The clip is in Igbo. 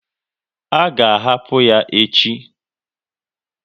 A ga ahapụ ya echi?